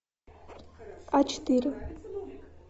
а четыре